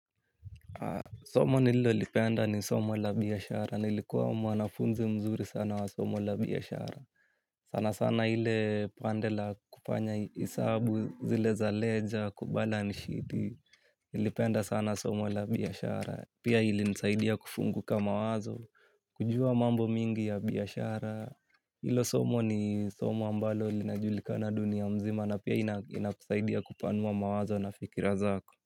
Somo nilo lipenda ni somo la biashara, nilikuwa mwanafunzi mzuri sana wa somo la biashara. Sana sana ile pande la kufanya hisabu zile za leja, ku balace sheet nilipenda sana somo la biashara. Pia ilinisaidia kufunguka mawazo, kujua mambo mingi ya biashara. Hilo somo ni somo ambalo linajulika na dunia mzima, na pia inakusaidia kupanua mawazo na fikira zako.